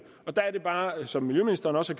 der er det bare ligesom miljøministeren også